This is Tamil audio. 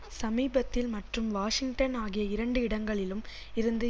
சமீபத்தில் மற்றும் வாஷிங்டன் ஆகிய இரண்டு இடங்களிலும் இருந்து